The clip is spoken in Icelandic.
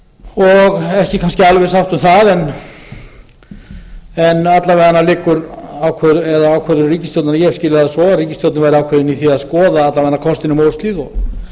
og ekki kannski alveg sátt um það en alla vega liggur ákvörðun ríkisstjórnarinnar eða ég skil það svo að ríkisstjórnin væri ákveðin í því að skoða alla vega kostinn um óshlíð og